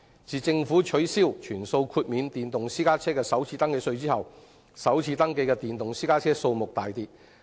自政府取消全數豁免電動私家車首次登記稅後，首次登記的電動私家車數目大跌。